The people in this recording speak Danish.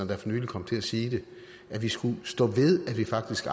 der for nylig kom til at sige det at vi skal stå ved at vi faktisk